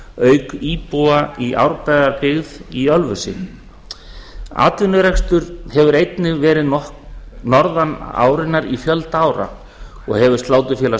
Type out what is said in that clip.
auk íbúa í árbæjarbyggð í ölfusi atvinnurekstur hefur einnig verið norðan árinnar í fjölda ára og hefur sláturfélag